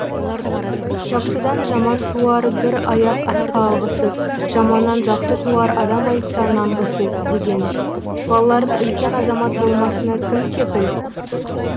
жақсыдан жаман туар бір аяқ асқа алғысыз жаманнан жақсы туар адам айтса нанғысыз деген балаларының үлкен азамат болмасына кім кепіл